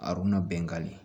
A bɛngali